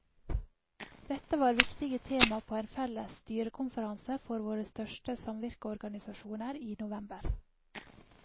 Dette var viktige tema på en felles styrekonferanse for våre største samvirkeorganisasjoner i november.